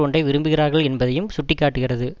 ஒன்றை விரும்புகிறார்கள் என்பதையும் சுட்டி காட்டுகிறது